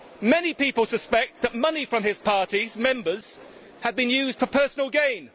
Many people suspect that money from his party's members have been used for personal gain.